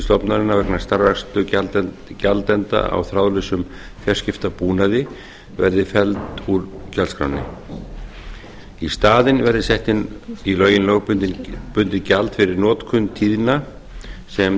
stofnunarinnar vegna starfrækslu gjaldenda á þráðlausum fjarskiptabúnaði verði felld úr gjaldskránni í staðinn verði sett inn í lögin lögbundið gjald fyrir notkun tíðna sem